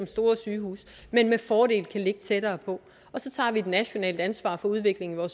store sygehuse men med fordel kan ligge tættere på og så tager vi et nationalt ansvar for udviklingen af